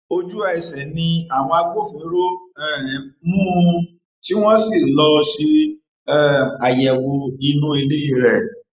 ojúẹsẹ ni àwọn agbófinró um mú un tí wọn sì lọọ ṣe um àyẹwò inú ilé rẹ